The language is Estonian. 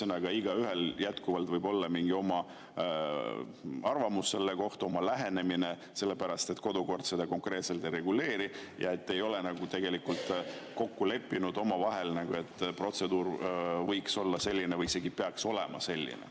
Ühesõnaga, igaühel võib jätkuvalt olla selle kohta mingi oma arvamus, oma lähenemine, sellepärast et kodukord seda konkreetselt ei reguleeri ja te ei ole tegelikult kokku leppinud omavahel, et protseduur võiks olla selline või isegi peaks olema selline.